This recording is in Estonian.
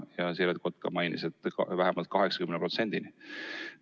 Ja Siret Kotka mainis, et vähemalt 80%-ni.